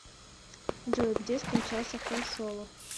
джой где скончался хэн соло